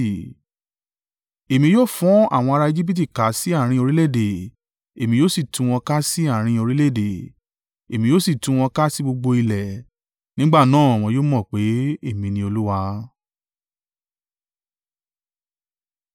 Èmi yóò fọ́n àwọn ara Ejibiti ká sí àárín orílẹ̀-èdè, èmi yóò sì tú wọn ká sí àárín orílẹ̀-èdè, èmi yóò sì tú wọn ká sí gbogbo ilẹ̀. Nígbà náà wọn yóò mọ̀ pé èmi ni Olúwa.”